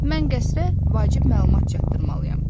Mən qəsrə vacib məlumat çatdırmalıyam.